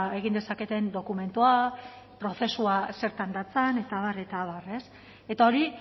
egin dezaketen dokumentua prozesua zertan datzan eta abar eta abar eta hori